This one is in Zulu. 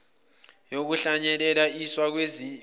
yokuhlunyelel iswa kwezimilo